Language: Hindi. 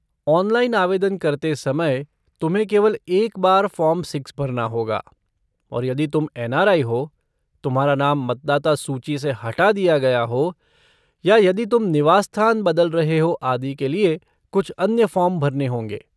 ऑनलाइन आवेदन करते समय, तुम्हें केवल एक बार फ़ॉर्म छः भरना होगा और यदि तुम एन.आर.आई. हो, तुम्हारा नाम मतदाता सूची से हटा दिया गया हो, या यदि तुम निवास स्थान बदल रहे हो, आदि के लिए कुछ अन्य फ़ॉर्म भरने होंगे।